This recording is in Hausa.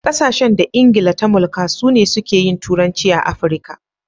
Ƙasashen da England ta mulka su ne suke yin turanci a AfriKa.